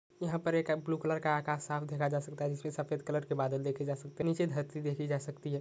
यह पर एक ब्लू कलर का आकाश साफ दिखा जा सकता है जिसपे सफ़ेद कलर के बादल देखे जा सकते है नीचे धरती देखि जा सकती है।